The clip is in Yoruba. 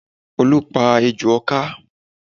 Olu pa ejò ọ̀ká